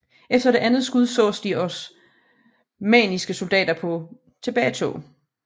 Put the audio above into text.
Efter det andet skud sås de oamanniske soldater på tilbagetog